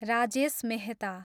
Rajesh Mehta